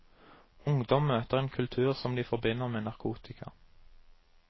Ungdom møter en kultur som de forbinder med narkotika.